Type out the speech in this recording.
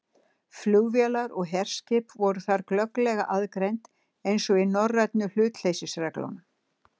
Flugvélar og herskip voru þar glögglega aðgreind, eins og í norrænu hlutleysisreglunum.